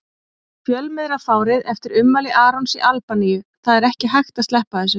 Fjölmiðlafárið eftir ummæli Arons í Albaníu Það er ekki hægt að sleppa þessu.